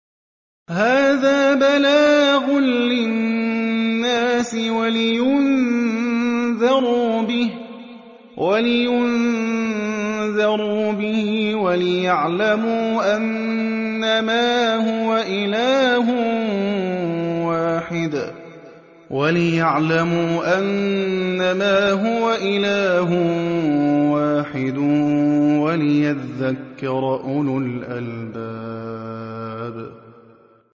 هَٰذَا بَلَاغٌ لِّلنَّاسِ وَلِيُنذَرُوا بِهِ وَلِيَعْلَمُوا أَنَّمَا هُوَ إِلَٰهٌ وَاحِدٌ وَلِيَذَّكَّرَ أُولُو الْأَلْبَابِ